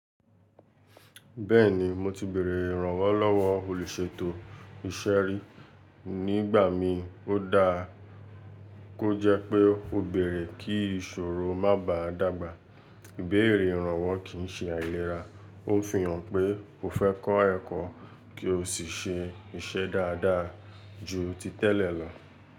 Bẹ́ẹ̀ni, mo ti bèrè ìrànwọ́ lọ́wọ́ olùṣètò iṣẹ́ rí nígbà m ó dáa kó jẹ́ pé ó bẹ̀rẹ̀ kí ìṣòro má bàá dàgbà. Bẹ̀rẹ̀ ìrànwọ́ kì í ṣe àìlera. Ó ń fi hàn pé o fẹ́ kọ́ ẹ̀kọ́ kí o sì ṣe iṣẹ́ dáadáa ju ti tẹ́lẹ̀ lọ.